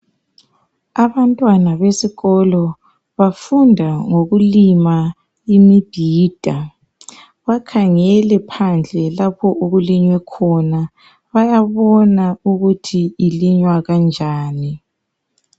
Abantwana besikolo bafunda ngokulima imibhida bakhangele phandle lapho okulinywe khona. Bayabona ukuthi ilinywa kanjani.